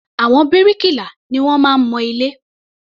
Àwọn bíríkìlà ni wọ́n máa ń mọ ilé.